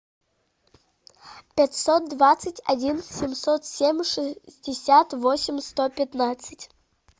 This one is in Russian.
пятьсот двадцать один семьсот семь шестьдесят восемь сто пятнадцать